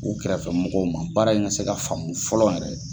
U kɛrɛfɛ mɔgɔw ma baara in ka se ka faamu fɔlɔ yɛrɛ.